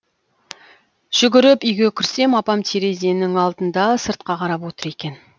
жүгіріп үйге кірсем апам терезенің алдында сыртқа қарап отыр екен